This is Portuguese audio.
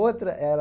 Outra era...